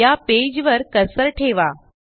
या पेज वर कर्सर ठेवा